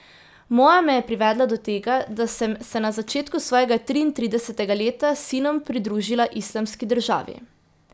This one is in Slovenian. Moja me je privedla do tega, da sem se na začetku svojega triintridesetega leta s sinom pridružila Islamski državi.